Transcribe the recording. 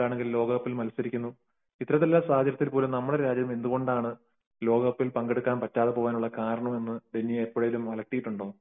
ലോകകപ്പിൽ മത്സരിക്കുന്നു. ഇത്ര നമ്മുടെ രാജ്യമാണ് എന്തുകൊണ്ടാണ് ലോക കപ്പിൽ പങ്കെടുക്കാതെ പോയതിന്റെ കാരണം എന്താണെന്നു ഡെന്നിയെ എപ്പോഴെങ്കിലും അലട്ടിയിട്ടുണ്ടോ